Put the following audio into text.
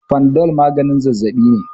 fanadol maganin zazzabi ne